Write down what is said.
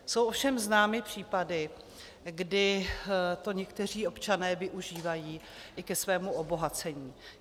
Jsou ovšem známy případy, kdy to někteří občané využívají i ke svému obohacení.